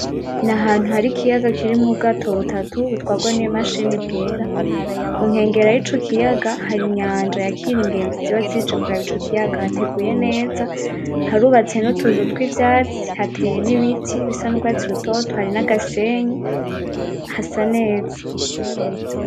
N'ahantu hari ikiyaga kirimwo Ubwato butatu butwarwa nimashini bwera, kunkengera y'ico kiyaga hari inyanja yakira ingenzi ziba zije kuraba Ico kiyaga hateguye neza harubatse nutuzu twivyatsi hateye n'ibiti bisa n'urwatsi rutoto hari nagasenyi hasa neza.